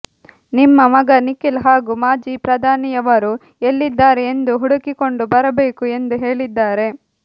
ನಿಮ್ಮ ಮಗ ನಿಖಿಲ್ ಹಾಗೂ ಮಾಜಿ ಪ್ರಧಾನಿಯವರು ಎಲ್ಲಿದ್ದಾರೆ ಎಂದು ಹುಡುಕಿಕೊಂಡು ಬರಬೇಕು ಎಂದು ಹೇಳಿದ್ದಾರೆ